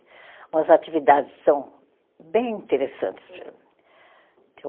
Umas atividades são bem interessantes.